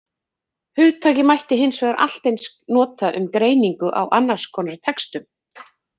Hugtakið mætti hins vegar allt eins nota um greiningu á annars konar textum.